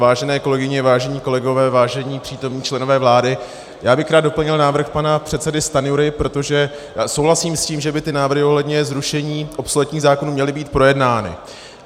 Vážené kolegyně, vážení kolegové, vážení přítomní členové vlády, já bych rád doplnil návrh pana předsedy Stanjury, protože souhlasím s tím, že by ty návrhy ohledně zrušení obsoletních zákonů měly být projednány.